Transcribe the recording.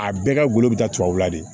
A bɛɛ ka golo bɛ taa tubabula de